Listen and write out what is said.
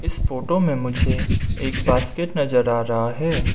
इस फोटो में मुझे एक बास्केट नजर आ रहा है।